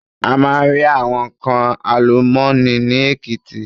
A máa rí àwọn nnkan àlùmọ́nì ni Èkìtì.